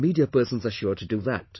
Our media persons are sure to do that